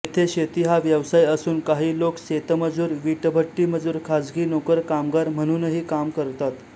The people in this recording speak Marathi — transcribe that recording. येथे शेती हा व्यवसाय असून काही लोक शेतमजूर वीटभट्टीमजूर खाजगी नोकर कामगार म्हणूनही काम करतात